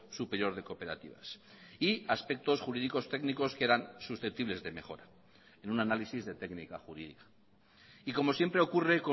superior de cooperativas y aspectos jurídicos técnicos que eran susceptibles de mejora en un análisis de técnica jurídica y como siempre ocurre